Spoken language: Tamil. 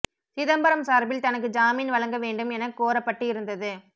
சிதம்பரம் சார்பில் தனக்கு ஜாமீன் வழங்க வேண்டும் என கோரப்பட்டு இருந்தது